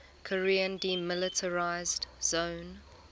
korean demilitarized zone